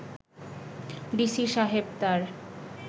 DC সাহেব তার